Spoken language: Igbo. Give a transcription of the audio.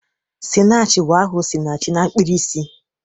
"Sinach ' bụ aha 'Osinachi' na mkpirisi.